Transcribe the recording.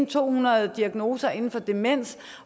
to hundrede diagnoser inden for demens